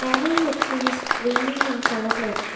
நெறையா ட்ரீஸ் கிரீனின் கலர்ல இருக்கு.